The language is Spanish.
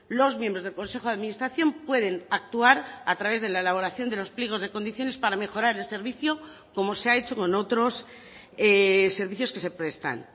los miembros del consejo de administración pueden actuar a través de la elaboración de los pliegos de condiciones para mejorar el servicio como se ha hecho con otros servicios que se prestan